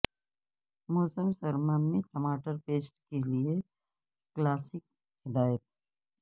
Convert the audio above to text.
موسم سرما میں ٹماٹر پیسٹ کے لئے کلاسک ہدایت